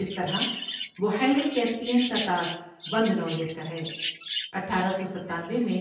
اس طرح بحیرہ کیسپیئن کا طاس بند نوعیت کا ہے اٹھارہ سوستانوے میں